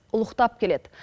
ұлықтап келеді